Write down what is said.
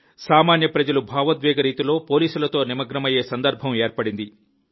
సామాన్య ప్రజలు భావోద్వేగ రీతిలో పోలీసులతో నిమగ్నమయ్యే సందర్భం ఏర్పడింది